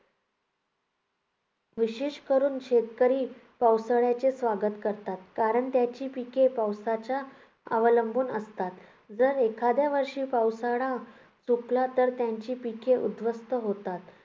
विशेष करून शेतकरी पावसाळ्याचे स्वागत करतात. कारण त्याची पिके पावसावरच अवलंबून असतात. जर एखाद्या वर्षी पावसाळा चुकला तर त्यांची पिके उद्ध्वस्त होतात.